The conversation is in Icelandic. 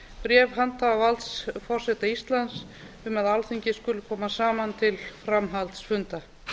bréf handhafa valds forseta íslands um að alþingi skuli koma saman til framhaldsfunda